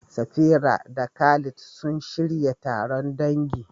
Safira da Khalid sun shirya taron dangi.